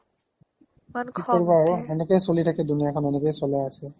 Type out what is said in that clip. কি কৰিবা আৰু এনেকৈ চলি থাকে দুনিয়াখন এনেকৈ এ চলে আজিকালি